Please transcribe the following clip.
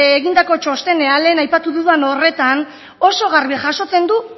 egindako txostenean lehen aipatu dudan horretan oso garbi jasotzen du